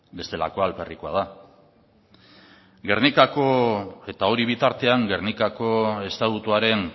bestelakoa alferrekoa da eta hori bitartean gernikako estatutuaren